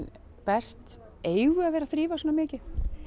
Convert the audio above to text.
best eigum við að vera að þrífa svona mikið